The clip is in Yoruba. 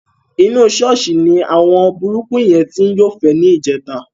Inú ṣọ́ọ̀ṣì ni àwọn burúkú yẹn ti ń yọ́fẹ̀ẹ́ níjẹta.